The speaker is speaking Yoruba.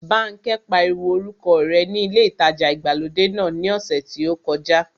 Bánkẹ́ pariwo orúkọ rẹ ní ilé ìtajà ìgbàlódé náà ní ọ̀sẹ̀ tí ó kọjá